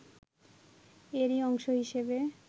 এরই অংশ হিসেবে